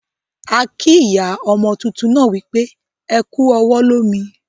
A kii ìyá ọmo túntún náà wípé "Ẹ kú ọwọ́ lómi"